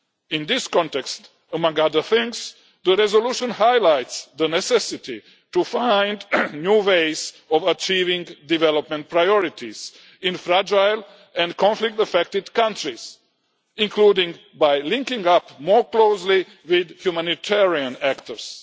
In this context, among other things, the resolution highlights the necessity to find new ways of achieving development priorities in fragile and conflict affected countries, including by linking up more closely with humanitarian actors.